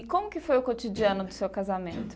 E como que foi o cotidiano do seu casamento?